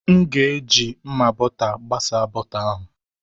M ga-eji mma bọta gbasa bọta ahụ.